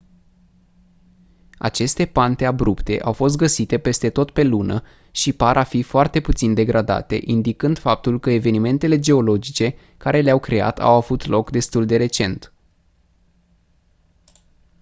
aceste pante abrupte au fost găsite peste tot pe lună și par a fi foarte puțin degradate indicând faptul că evenimentele geologice care le-au creat au avut loc destul de recent